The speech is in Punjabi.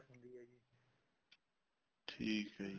ਠੀਕ ਆ ਜੀ